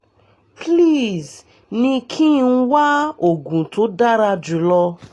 please ní kí n wá oògùn tó dára jù lọ